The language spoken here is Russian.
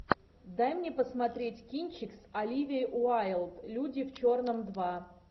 дай мне посмотреть кинчик с оливией уайлд люди в черном два